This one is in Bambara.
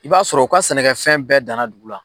I b'a sɔrɔ u ka sɛnɛkɛ fɛn bɛɛ danna dugu la.